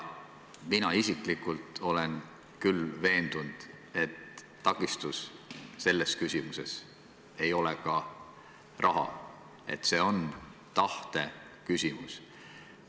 Mina isiklikult olen küll veendunud, et takistus selles küsimuses ei ole ka raha, et see on tahteküsimus.